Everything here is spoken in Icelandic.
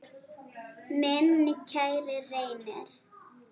Minn kæri Reynir.